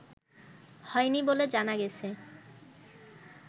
হয়নি বলে জানা গেছে